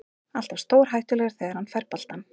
Alltaf stórhættulegur þegar hann fær boltann.